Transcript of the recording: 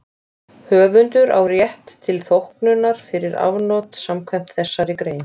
Höfundur á rétt til þóknunar fyrir afnot samkvæmt þessari grein.